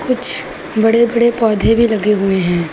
कुछ बड़े बड़े पौधे भी लगे हुए हैं।